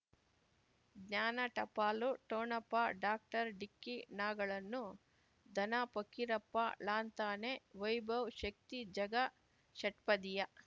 ಜ್ಞಾನ ಟಪಾಲು ಠೊಣಪ ಡಾಕ್ಟರ್ ಢಿಕ್ಕಿ ಣಗಳನು ಧನ ಫಕೀರಪ್ಪ ಳಂತಾನೆ ವೈಭವ್ ಶಕ್ತಿ ಝಗಾ ಷಟ್ಪದಿಯ